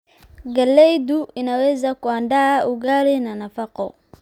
Galaydu inaweza kuandaa ugali na nafaqo.